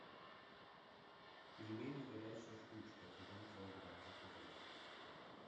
пельмени горячая штучка один килограмм заказать